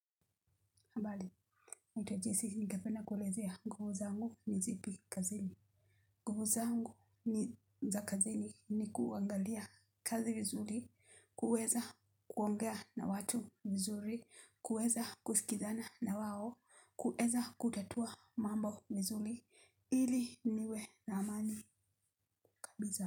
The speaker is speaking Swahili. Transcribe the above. Habari, naitwa Jesi ningependa kulezea nhuvu zangu ni zipi kazini. Nguvu zangu ni za kazini ni kuangalia kazi vizuri, kuweza kuongea na watu vizuri, kuweza kusikizana na wao, kuweza kutatua mambo mzuri, ili niwe na amani kabisa.